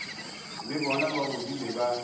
le bona ba godile ba